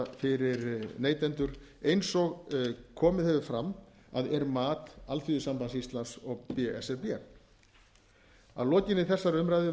fyrir neytendur eins og komið hefur fram að er mat alþýðusambands íslands og b s r b að lokinni þessar umræðu